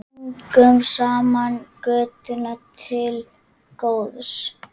Göngum saman götuna til góðs.